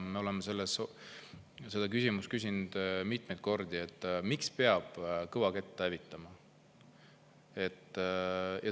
Me oleme seda küsinud mitmeid kordi, miks peab kõvakettasd hävitama.